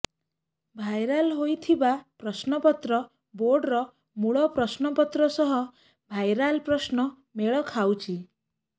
viral ହୋଇଥିବା ପ୍ରଶ୍ନପତ୍ର ବୋର୍ଡର ମୂଳ ପ୍ରଶ୍ନପତ୍ର ସହ ଭାଇରାଲ୍ ପ୍ରଶ୍ନ ମେଳ ଖାଉଛି